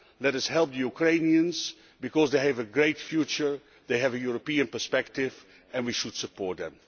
Let us help the Ukrainians, because they have a great future, they have a European perspective and we should support them.